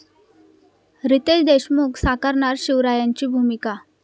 रितेश देशमुख साकारणार शिवरायांची भूमिका!